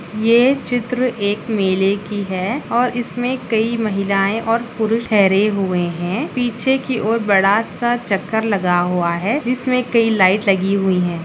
ये चित्र एक मेले की है और इसमें कई महिलाएं और पुरुष ठहरे हुए हैं पीछे की ओर बड़ा सा चक्कर लगा हुआ है जिसमें कई लाइट लगी हुई है।